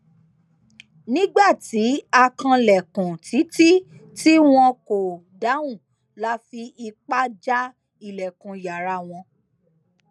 nígbà tí a kanlẹkùn títí tí wọn kò dáhùn la fi ipá já ilẹkùn yàrá wọn